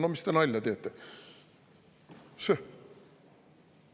No mis te nalja teete?